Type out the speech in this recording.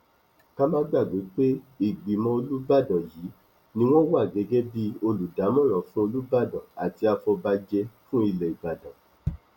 ká má gbàgbé pé ìgbìmọ olùbàdàn yìí ni wọn wà gẹgẹ bíi olùdámọràn fún olùbàdàn àti àfọbàjẹ fún ilẹ ìbàdàn